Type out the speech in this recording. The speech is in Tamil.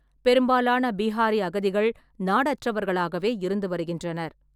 பெரும்பாலான பீஹாரி அகதிகள் நாடற்றவர்களாகவே இருந்து வருகின்றனர்.